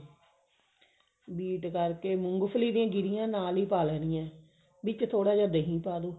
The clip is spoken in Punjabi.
beat ਕਰਕੇ ਮੂੰਗਫਲੀ ਦੀਆਂ ਗਿਰੀਆਂ ਨਾਲ ਹੀ ਪਾ ਲੈਣੀਆਂ ਵਿੱਚ ਥੋੜਾ ਜਾ ਦਹੀਂ ਪਾਲੋ